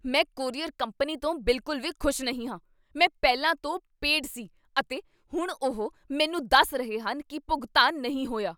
ਮੈਂ courier company ਤੋਂ ਬਿਲਕੁਲ ਵੀ ਖੁਸ਼ ਨਹੀਂ ਹਾਂ। ਮੈਂ ਪਹਿਲਾਂ ਤੋਂ ਪੇਡ ਸੀ, ਅਤੇ ਹੁਣ ਉਹ ਮੈਨੂੰ ਦੱਸ ਰਹੇ ਹਨ ਕੀ ਭੁਗਤਾਨ ਨਹੀਂ ਹੋਇਆ!